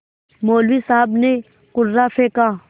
मौलवी साहब ने कुर्रा फेंका